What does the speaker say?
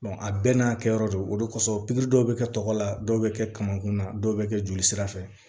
a bɛɛ n'a kɛ yɔrɔ do o de kosɔn pikiri dɔw bɛ kɛ tɔgɔ la dɔw bɛ kɛ kamankun na dɔw bɛ kɛ jolisirafɛ